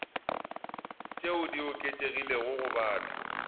tšeo di oketšegilego go batho